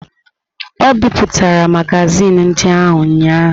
O bipụtara magazin ndị ahụ ụnyahụ.